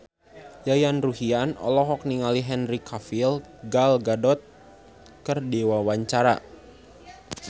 Yayan Ruhlan olohok ningali Henry Cavill Gal Gadot keur diwawancara